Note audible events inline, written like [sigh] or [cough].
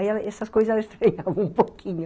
Aí, essas coisas, [laughs] ela estranhava um pouquinho.